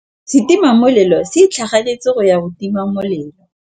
Setima molelô se itlhaganêtse go ya go tima molelô.